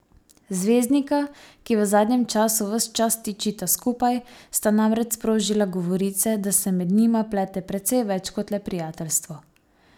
Zvezdnika, ki v zadnjem času ves čas tičita skupaj, sta namreč sprožila govorice, da se med njima plete precej več kot le prijateljstvo.